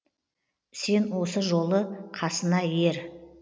сен осы жолы қасына ер